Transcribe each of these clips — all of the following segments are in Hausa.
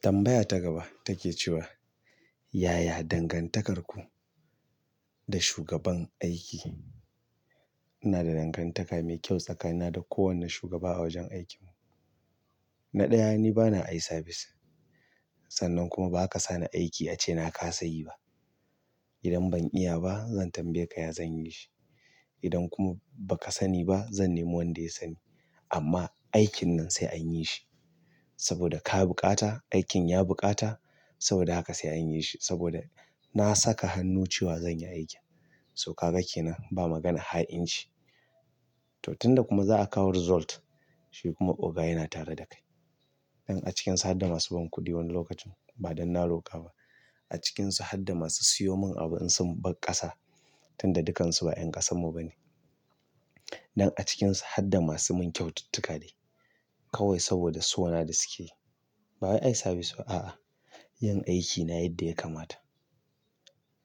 Tambaya ta gaba take cewa, "Yaya dangantakarku da shugaban aiki?" Ina da dangantaka mai kyau tsakanina da kowane shugaba a wajen aikinmu. Na ɗaya, ni bana eyeservice. Sannan kuma ba ka sa ni aiki ace na kasa yi ba. Idan ban iya ba, zan tambaye ka ya zan yi shi. Idan kuma ba ka sani ba, zan nemo wanda ya sani. Amma aikin nan sai an yi shi saboda ka buƙata, aikin ya buƙata saboda haka sai an yi shi saboda na saka hannu cewa zan yi aikin. To ka ga kenan ba maganar ha'inci to, tun da kuma za a kawo result, shi kuma oga yana tare da kai. In a cikin su harda masu ban kuɗi wani lokacin, ba dan na roƙa ba a cikinsu har da masu sayo min abu in sun bar ƙasa tun da dukansu ba 'ƴan ƙasarmu ba ne. Nan a cikinsu har da masu mun kyaututtuka dai, kawai saboda sona da sukeyi. Ba eyeservice ba, a'a. Yin aikina yadda ya kamata.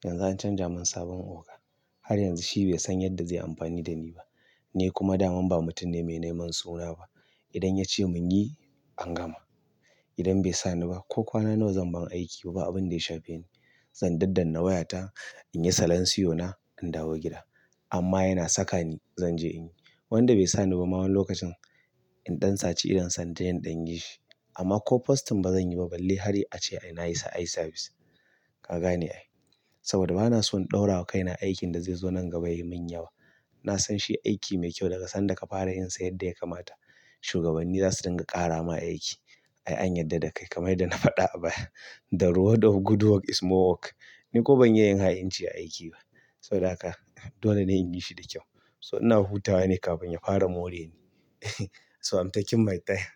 Yanzu an canja mun sabon oga. Har yanzu shi bai san yadda zai amfani da ni ba, ni kuma daman ba mutum ne mai neman suna ba. Idan ya ce mun yi, an gama. Idan bai sa ni ba ko kwana nawa zan bar aiki babu abin da ya shafe ni. Zan daddana wayata, in yi salanciona, in dawo gida. Amma yana saka ni, zan je in yi. Wanda bai sani ba ma wani lokacin, in dan sace idon sa inje in ɗan yi shi amma ko postin ba zan yi ba balle har ace ai na isa eyeservice. Ka gani ai saboda ba na son ɗaura kaina aikin da zai zo nan gaba ya yi mun yawa. Na san shi aiki mai kyau daga sanda ka fara yin sa yadda ya kamata. Shugabanni za su dinga ƙara ma aiki. Ai an yarda da kai, kamar yanda na faɗa a baya the reward of good work is more work. Ni kuma ban iya yin ha'inci a aiki ba saboda haka. Dole ne in yi shi da kyau. So ina hutawa ne kafin ya fara more ni. So, am taking my time.